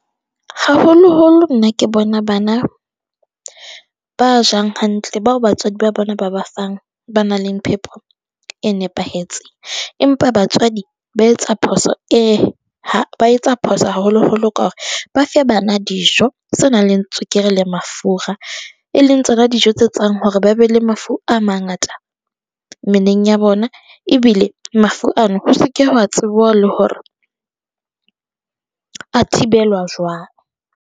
Haholo-holo nna ke bona bana ba jang hantle, bao batswadi ba bona ba ba fang ba nang le phepo e nepahetse, empa batswadi ba etsa phoso e ha ba etsa phoso haholo-holo ka hore ba fe bana dijo tse nang le tswekere le mafura. Eleng tsona dijo tse tsang hore ba be le mafu a mangata mmeleng ya bona ebile mafu ano ho se ke wa tsebuwa le hore a thibelwa jwang.